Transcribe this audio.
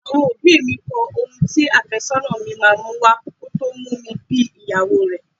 Àwọn òbí mi kọ ohun tí afésónà mi máa mú wá kò tó mú mi bí ìyàwó rẹ.